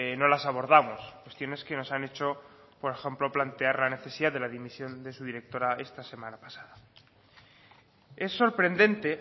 no las abordamos cuestiones que nos han hecho por ejemplo plantear la necesidad de la dimisión de su directora esta semana pasada es sorprendente